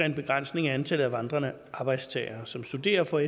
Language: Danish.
en begrænsning i antallet af vandrende arbejdstagere som studerer og